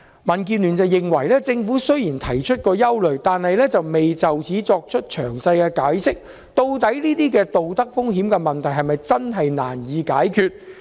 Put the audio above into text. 民建聯認為，政府雖然提出了憂慮，但未有詳細解釋究竟這些道德風險的問題是否真的難以解決。